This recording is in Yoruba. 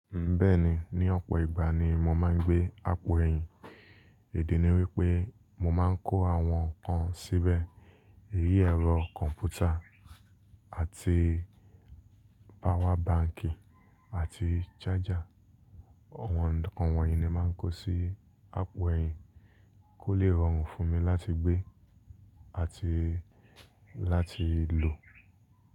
Bẹ́ẹ̀ni, ní ọ̀pọ̀ ìgbà ni mo máa ń gbé àpò ẹ̀yìn. Idi ni wípé mo máa ń kó àwọn nǹkan síbẹ̀, èyí ẹ̀rọ kọ̀m̀pútà àti power banki àti charger. Àwọn nǹkan wọ̀nyí ni màá ń kó sí àpò ẹ̀yìn kó lè rọrùn fún mi láti gbé àti láti lò.